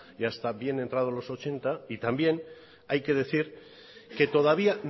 y hasta bien entrado los ochenta y también hay que decir que todavía